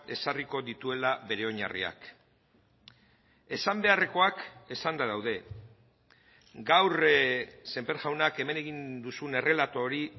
ezarriko dituela bere oinarriak esan beharrekoak esanda daude gaur sémper jaunak hemen egin duzun errelato hori